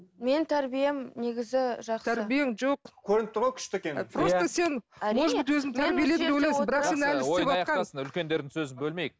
мен тәрбием негізі жақсы тәрбиең жоқ көрініп тұр ғой күшті екенін ойын аяқтасын үлкендердің сөзін бөлмейік